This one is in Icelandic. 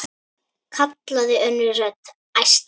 kallaði önnur rödd, æstari.